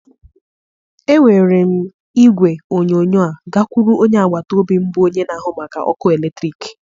Ewere m igwe onyonyo a gakwuru onye agbata obi m bụ onye na-ahụ maka ọkụ eletrik